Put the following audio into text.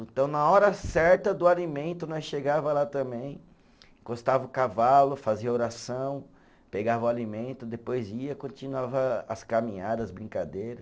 Então, na hora certa do alimento, nós chegava lá também, encostava o cavalo, fazia oração, pegava o alimento, depois ia, continuava as caminhada, as brincadeira.